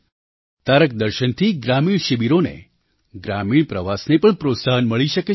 તારક દર્શનથી ગ્રામીણ શિબિરો ને ગ્રામીણ પ્રવાસને પણ પ્રોત્સાહન મળી શકે છે